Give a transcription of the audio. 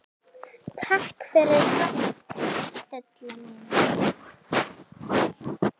Takk fyrir allt Stella mín.